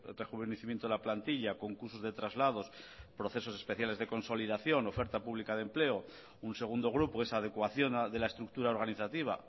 rejuvenecimiento de la plantilla concursos de traslados procesos especiales de consolidación oferta pública de empleo un segundo grupo esa adecuación de la estructura organizativa